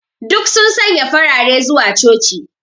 Duk sun sanya farare zuwa coci.